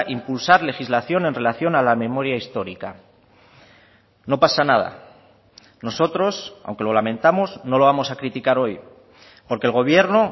impulsar legislación en relación a la memoria histórica no pasa nada nosotros aunque lo lamentamos no lo vamos a criticar hoy porque el gobierno